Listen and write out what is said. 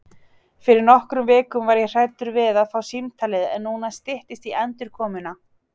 Fyrir nokkrum vikum var ég hræddur við að fá símtalið en núna styttist í endurkomuna.